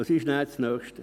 Was ist das Nächste?